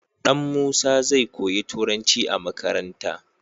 Dan musa zai koyi turanci a makaranta